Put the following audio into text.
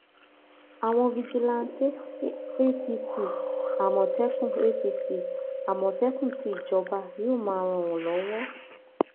àwọn fijilantàn apc àmọtẹkùn apc àmọtẹkùn tí ìjọba yóò máa ràn lọwọ